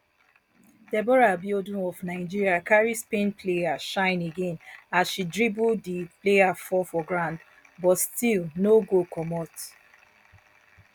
deborah abiodun of nigeria carry spain player shine again as she dribble di player fall for ground but still goal no comot